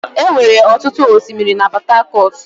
Enwere ọtụtụ osimiri na Port Harcourt.